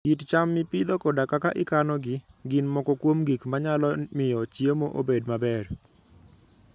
kit cham mipidho koda kaka ikanogi, gin moko kuom gik manyalo miyo chiemo obed maber.